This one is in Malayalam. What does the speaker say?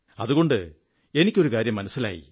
അതുകണ്ട് എനിക്ക് ഒരു കാര്യം മനസ്സിലായി